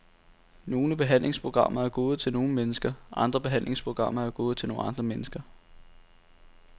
Nogle behandlingsprogrammer er gode til nogle mennesker, andre behandlingsprogrammer er gode til nogle andre mennesker.